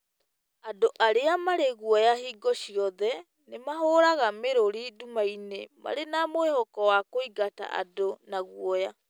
Andũ arĩa marĩ guoya hingo ciothe nĩ mahũraga mĩrũri nduma-inĩ marĩ na mwĩhoko wa kũingata andũ na guoya.